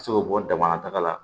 Ka se k'o bɔ dama na taga la